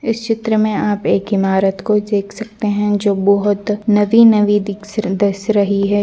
इस चित्र में आप एक इमारत को देख सकते है जो बहुत नवी-नवी रही है।